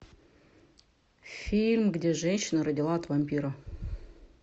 фильм где женщина родила от вампира